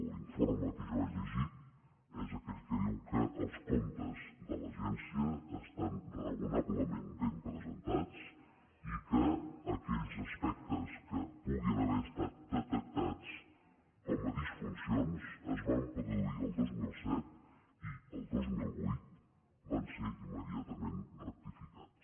l’informe que jo he llegit és aquell que diu que els comptes de l’agència estan raonablement ben presentats i que aquells aspectes que puguin haver estat detectats com a disfuncions es van produir el dos mil set i el dos mil vuit van ser immediatament rectificats